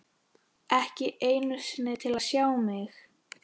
Ekki einu sinni til að sjá mig.